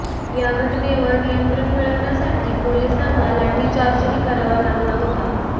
या घटनेवर नियंत्रण मिळवण्यासाठी पोलिसांना लाठीचार्जही करावा लागला होता